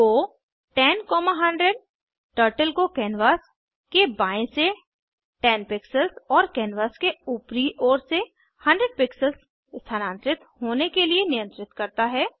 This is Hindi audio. गो 10100 टर्टल को कैनवास के बाएँ से 10 पिक्सेल्स और कैनवास के ऊपरी ओर से 100 पिक्सेल्स स्थानांतरित होने के लिए नियंत्रित करता है